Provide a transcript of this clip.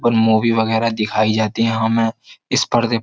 और मूवी वगैरह दिखाई जाती हैं हमें इस पर्दे --